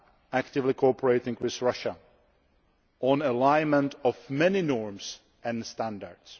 actively cooperating with Russia on the alignment of many norms and standards.